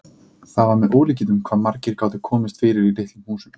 Það var með ólíkindum hvað margir gátu komist fyrir í litlum húsum.